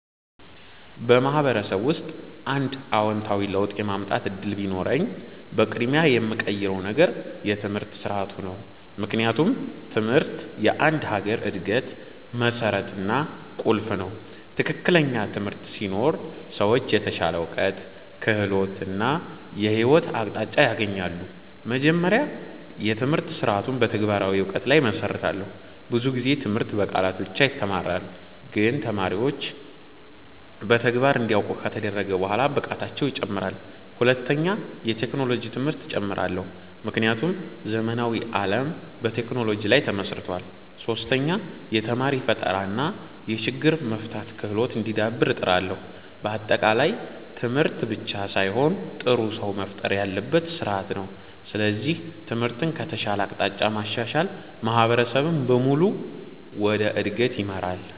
በማህበረሰብ ውስጥ አንድ አዎንታዊ ለውጥ የማምጣት እድል ቢኖረኝ፣ በቅድሚያ የምቀይረው ነገር የትምህርት ስርዓቱ ነው። ምክንያቱም ትምህርት የአንድ ሀገር እድገት መሠረት እና ቁልፍ ነው። ትክክለኛ ትምህርት ሲኖር ሰዎች የተሻለ እውቀት፣ ክህሎት እና የህይወት አቅጣጫ ያገኛሉ። መጀመሪያ፣ የትምህርት ስርዓቱን በተግባራዊ እውቀት ላይ እመሰርታለሁ። ብዙ ጊዜ ትምህርት በቃላት ብቻ ይተማራል፣ ግን ተማሪዎች በተግባር እንዲያውቁ ከተደረገ በኋላ ብቃታቸው ይጨምራል። ሁለተኛ፣ የቴክኖሎጂ ትምህርት እጨምራለሁ፣ ምክንያቱም ዘመናዊ ዓለም በቴክኖሎጂ ላይ ተመስርቷል። ሶስተኛ፣ የተማሪ ፈጠራ እና የችግር መፍታት ክህሎት እንዲዳብር እጥራለሁ። በአጠቃላይ ትምህርት ብቻ ሳይሆን ጥሩ ሰው መፍጠር ያለበት ስርዓት ነው። ስለዚህ ትምህርትን ከተሻለ አቅጣጫ ማሻሻል ማህበረሰብን በሙሉ ወደ እድገት ይመራል።